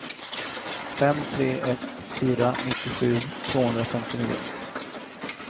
fem tre ett fyra nittiosju tvåhundrafemtionio